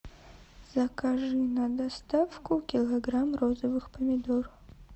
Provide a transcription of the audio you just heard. закажи на доставку килограмм розовых помидор